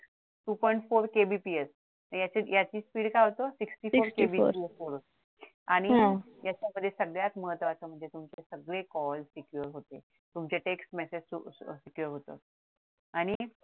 two point fourKBPS आणि याच speed काय होतं sixty-four आणि याच्या मध्ये सगळ्यात महत्वाचं म्हणजे सगळे call secure होते तुमचे text message आणि